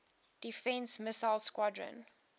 defense missile squadron